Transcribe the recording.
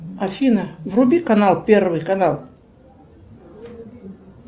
афина вруби канал первый канал